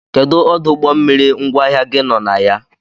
Kedụ ọdụ ụgbọmmiri ngwaahịa gi nọ na ya?